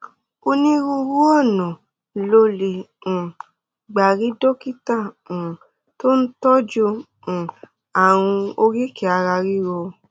onírúurú ọ̀nà lo lè um gbà rí dókítà um tó ń tọ́jú um ààrùn oríkèé ara ríro